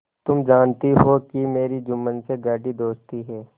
तुम जानती हो कि मेरी जुम्मन से गाढ़ी दोस्ती है